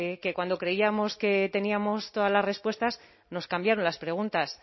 que cuando creíamos que teníamos todas las respuestas nos cambiaron las preguntas